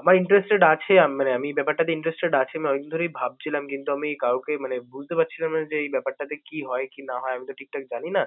আমার interested আছে আম~ মানে আমি ব্যাপারটাতে interested আছি আমি অনেকদিন ধরেই ভাবছিলাম কিন্তু আমি কাউকে মানে বুঝতে পারছিলাম না যে এই ব্যাপারটাতে কি হয়, কি না হয়। আমি তো ঠিকঠাক জানিনা